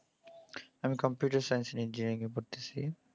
আমি computer science engineering এ পড়তেসি।